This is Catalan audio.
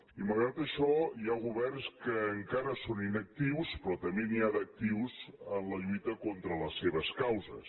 i malgrat això hi ha governs que encara són inactius però també n’hi ha d’actius en la lluita contra les seves causes